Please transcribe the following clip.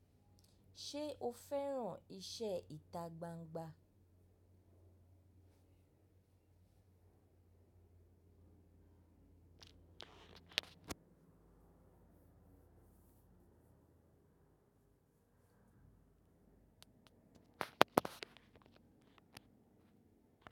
Ṣé o fẹ́ràn iṣẹ́ ìta gbangba?